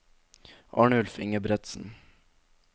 Arnulf Ingebretsen